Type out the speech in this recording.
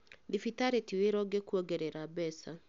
Thibitarĩ ti wĩra ũngĩkuongerera mbeca